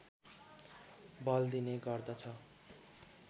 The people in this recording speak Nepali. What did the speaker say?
बल दिने गर्दछ